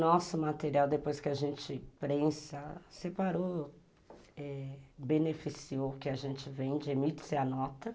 Nosso material, depois que a gente prensa, separou, beneficiou o que a gente vende, emite-se a nota.